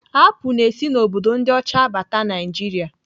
Apụl na-esi n'obodo ndị ọcha abata Naịjiria.